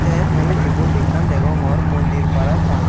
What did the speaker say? tey mui ebot ekkan degongor mondir parapang.